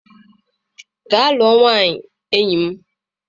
Gaa lụọ nwaanyị, enyi m!